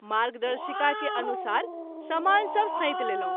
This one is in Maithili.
मार्गदर्शिका के अनुसार समान सभ सैंत लेलहुँ।